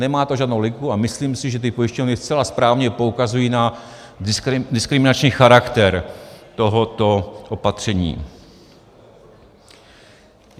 Nemá to žádnou logiku a myslím si, že ty pojišťovny zcela správně poukazují na diskriminační charakter tohoto opatření.